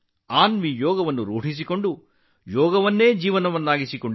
ಅನ್ವಿ ಯೋಗವನ್ನು ಮೈಗೂಡಿಸಿಕೊಂಡರು ಮತ್ತು ಅದನ್ನು ಜೀವನದಲ್ಲಿ ಅಳವಡಿಸಿಕೊಂಡರು